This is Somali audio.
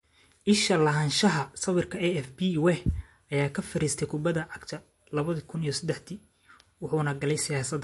Isha lahaanshaha sawirka AFP Weah ayaa ka fariistay kubada cagta 2003dii wuxuuna galay siyaasada.